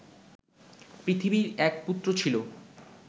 পৃথিবীর এক পুত্র ছিল